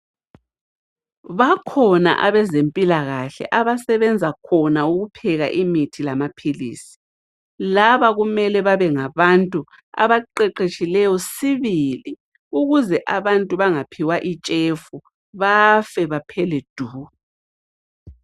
Bakhona abezempilakahle abasebenza khona ukupheka imithi lamaphilisi. Laba kumele babengabantu abaqeqeshileyo sibili, ukuze abantu bengaphiwa itshefu bafe baphele du.